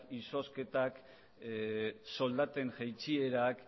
izozketak soldaten jaitsierak